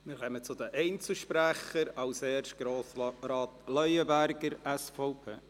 Wir kommen zu den Einzelsprechern, zuerst zu Grossrat Leuenberger, SVP.